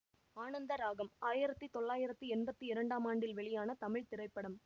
ஆனந்த ராகம் ஆயிரத்தி தொள்ளாயிரத்தி எம்பத்தி இரண்டாம் ஆண்டில் வெளியான தமிழ் திரைப்படம்